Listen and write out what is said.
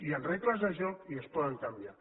hi han regles de joc i es poden canviar